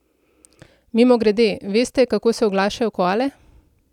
Mimogrede, veste, kako se oglašajo koale?